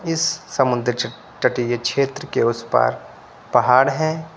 इस समुद्र च तटीय क्षेत्र के उस पर पहाड़ है।